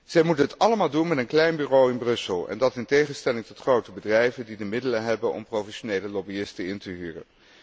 Zij moeten het allemaal doen met een klein bureau in Brussel, en dat in tegenstelling tot grote bedrijven die de middelen hebben om professionele lobbyisten in te huren.